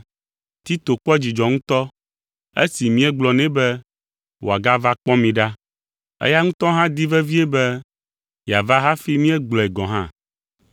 Tito kpɔ dzidzɔ ŋutɔ esi míegblɔ nɛ be wòagava kpɔ mi ɖa. Eya ŋutɔ hã di vevie be yeava hafi míegblɔe gɔ̃ hã.